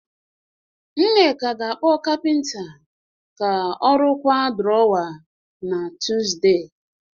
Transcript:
Nneka ga-akpọ capenter rụkwaa drawer na Tuesday